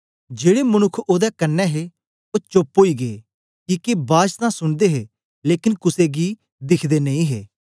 जेड़े मनुक्ख ओदे कन्ने हे ओ चोप्प ओई गै किके बाज तां सुनदे हे लेकन कुसे गी दिखदे नेई हे